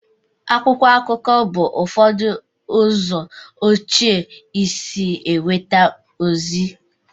akwụkwọ akụkọ bụ ụfọdụ ụzọ ochie esi enweta ozi